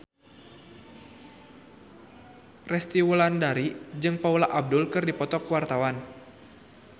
Resty Wulandari jeung Paula Abdul keur dipoto ku wartawan